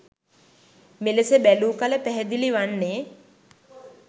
මෙලෙස බැලූ කල පැහැදිලි වන්නේ